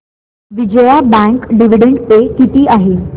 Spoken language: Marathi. विजया बँक डिविडंड पे किती आहे